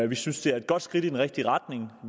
vi synes det er et godt skridt i den rigtige retning